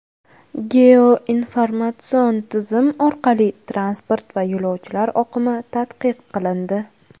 Geoinformatsion tizim orqali transport va yo‘lovchilar oqimi tadqiq qilindi.